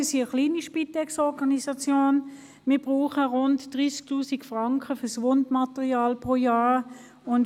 Wir sind eine kleine Spitex-Organisation und wenden jährlich rund 30 000 Franken für Wundmaterial auf.